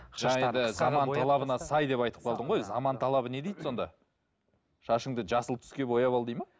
талабына сай деп айтып қалдың ғой өзі заман талабы не дейді сонда шашыңды жасыл түске бояп ал дейді ме